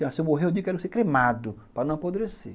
Se eu morrer, eu digo que quero ser cremado, para não apodrecer.